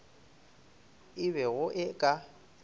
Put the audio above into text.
e be go e ka